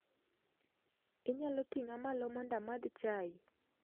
Inyalo ting'a malo mondo amadh chai.